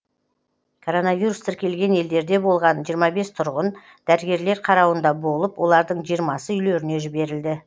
коронавирус тіркелген елдерде болған жиырма бес тұрғын дәрігерлер қарауында болып олардың жиырмасы үйлеріне жіберілді